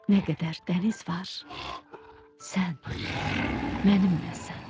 Nə qədər dəniz var, sən mənimləsən.